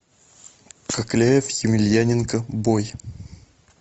кокляев емельяненко бой